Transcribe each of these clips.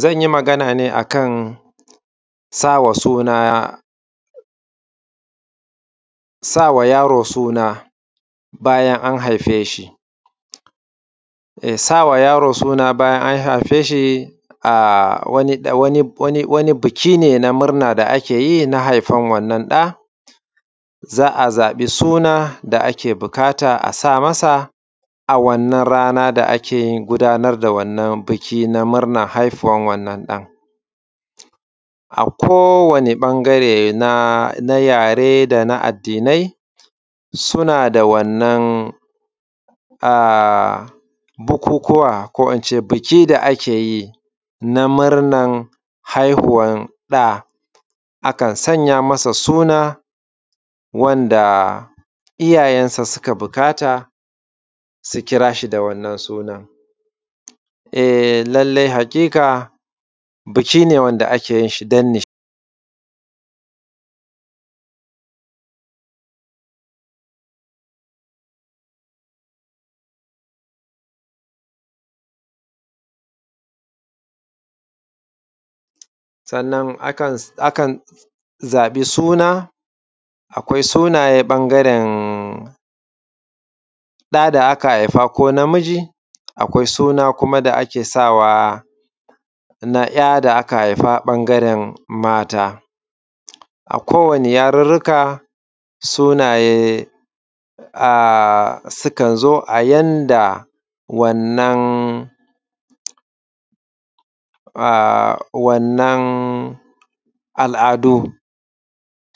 Zan yi maganaa ne akan sawa suna, sawa yaro suna bayan an haifee shi. Sawa yaro suna bayan an haifee shi wani buki ne na murna da ake yi na haifan wannan ɗa za a zaɓi suna da ake buƙata a sa masa a wannan rana da ake gudaanar da wannan buki na murnar haifuwar wannan ɗan. A kowane ɓangare na yaree da na addinai sunaa da wannan bukukuwa ko ince biki da ake yi na murnar haihuwan ɗa, akan sanya masa sunaa wanda iyaayensa suka buƙata su kiraashi da wannan sunan. Eh lallai haƙiƙa biki ne wanda ake yin shi don ni, sannan akan zaɓi suna akwai sunayen ɓangaren ɗa da aka haifa ko namiji akwai suna kuma da ake sawaa na ‘ya da aka haifa ɓangaren maata. A kowane yarurruka sunaaye sukan zo a yanda wannan, wannan al’adu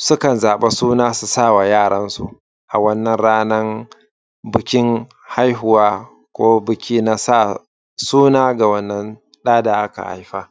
sukan zaɓa suna su sawa yaaransu a wannan ranaa bikin haihuwa ko biki na sa sunaa ga wannan ɗa da aka haifa.